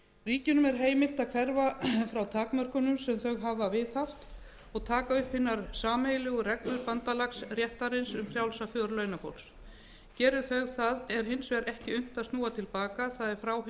ríkjunum er heimilt að hverfa frá takmörkunum sem þau hafa viðhaft og taka upp hinar sameiginlegu reglur bandalagsréttarins um frjálsa för launafólks geri þau það er hins vegar ekki unnt að snúa til baka það er frá hinum